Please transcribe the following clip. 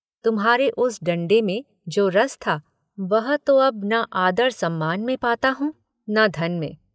तुम्हारे उस डंडे में जो रस था वह तो अब न आदर सम्मान में पाता हूँ न धन में।